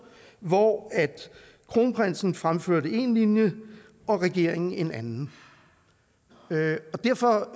hvor kronprinsen fremførte en linje og regeringen en anden derfor